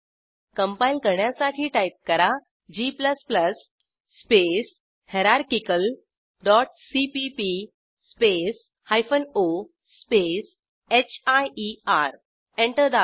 compile करण्यासाठी type करा g space hierarchical dot CPP space hyphen O space hier enter दाबा